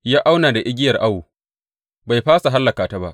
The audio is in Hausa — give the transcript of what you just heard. Ya auna da igiyar awo bai fasa hallaka ta ba.